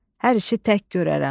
Hər işi tək görərəm.